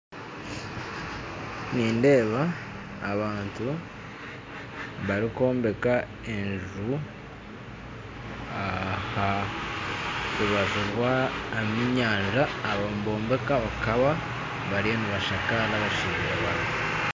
Nindeeba abantu barikwombeka enju aha rubaju rw'enyanja aha baka nibombeka bariyo nibashakaara